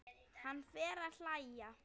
Hann fer að hlæja.